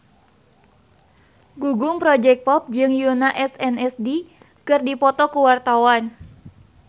Gugum Project Pop jeung Yoona SNSD keur dipoto ku wartawan